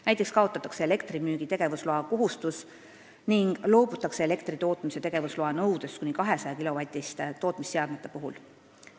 Näiteks kaotatakse elektrimüügi tegevusloa kohustus ning loobutakse elektritootmise tegevusloa nõudest kuni 200-kilovatiste tootmisseadmete puhul.